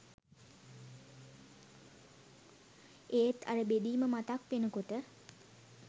ඒත් අර බෙදීම මතක් වෙනකොට